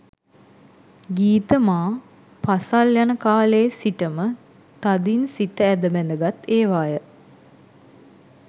ගීත මා පාසල් යන කාලයේ සිටම තදින් සිත ඇද බැඳගත් ඒවාය.